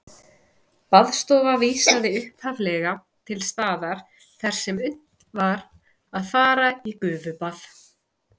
Baðstofa vísaði upphaflega til staðar þar sem unnt var að fara í gufubað.